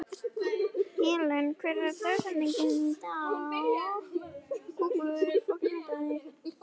Helen, hver er dagsetningin í dag?